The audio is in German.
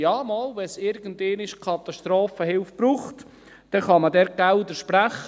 «Ja, doch, wenn es irgendeinmal Katastrophenhilfe braucht, dann kann man dort Gelder sprechen.»